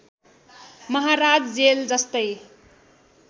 महाराज जेल जस्तै